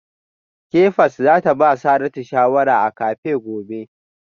Kefas za ta ba Saratu shawara a cafe gobe